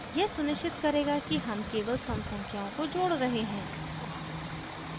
यह सुनिश्चित करेगा कि हम केवल सम संख्याओं को जोड रहे हैं